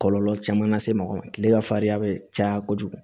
Kɔlɔlɔ caman lase mɔgɔ ma kile ka fariya bɛ caya kojugu